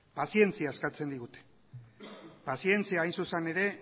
pazientzia eskatzen digute pazientzia hain zuzen ere